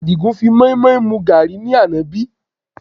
Àdìgún fi moimoi mu gàárì ní àná bí?